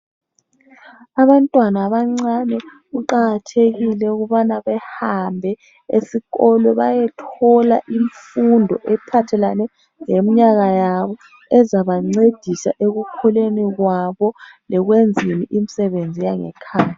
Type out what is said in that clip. Abantwana abancane kuqakathekile ukubana behambe esikolo bayethola imfundo ephathelane leminyaka yabo ezabancedisa ekukhuleni kwabo lekwenzeni imisebenzi yangekhaya.